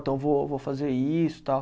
Então, vou vou fazer isso, tal.